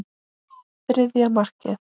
Þriðja markið.